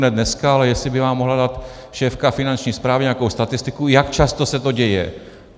Ne dneska, ale jestli by vám mohla dát šéfka Finanční správy nějakou statistiku, jak často se to děje.